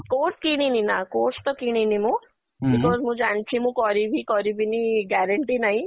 course କିଣିନି ନା course ତ କିଣିନି ମୁଁ because ମୁଁ ଜାଣିଛି ମୁଁ କରିବି କରିବିନି guarantee ନାଇଁ